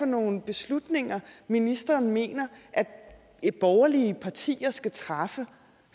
nogen beslutninger ministeren mener borgerlige partier skal træffe